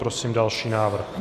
Prosím další návrh.